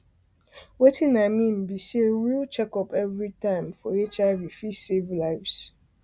watin i mean be sayreal checkup everytime checkup everytime for hiv fit save lives